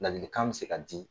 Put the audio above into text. Ladilikan bɛ se ka di.